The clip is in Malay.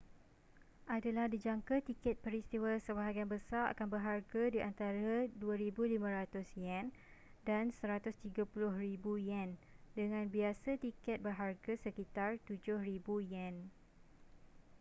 adalah dijangka tiket peristiwa sebahagian besar akan berharga di antara ¥2,500 dan ¥130,000 dengan biasa tiket berharga sekitar ¥7,000